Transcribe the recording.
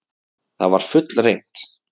Þetta var fullreynt.